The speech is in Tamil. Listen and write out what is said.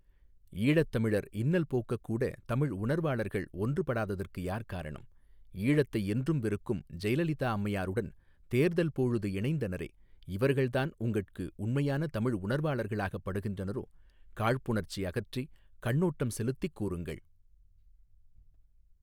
ஈழத் தமிழர் இன்னல் போக்கக் கூட தமிழ் உணர்வாளர்கள் ஒன்று படாததற்கு யார் காரணம் ஈழத்தை என்றும் வெறுக்கும் ஜெயலலிதா அம்மையாருடன் தேர்தல் போழுது இணைந்தனரே இவர்கள்தான் உங்கட்கு உண்மையான தமிழ் உணர்வாளர்களாகப் படுகின்றனரோ காழ்ப்புணர்ச்சி அகற்றி கண்ணோட்டம் செலுத்திக் கூறுங்கள்.